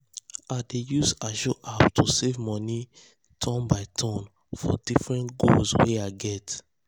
i dey use ajo app to save money turn by turn for different goals wey i get.